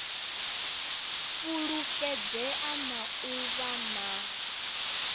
fulufhedzea na u vha na